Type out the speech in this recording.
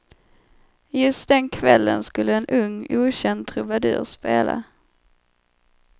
Just den kvällen skulle en ung okänd trubadur spela.